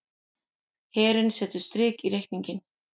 Herinn setur strik í reikninginn